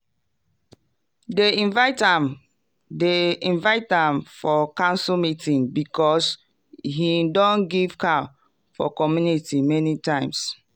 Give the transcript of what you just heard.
dem invite am dem invite am for council meeting because him don give cow for community many times.